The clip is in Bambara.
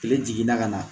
Kile jiginna ka na